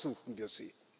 Darum ersuchen wir Sie.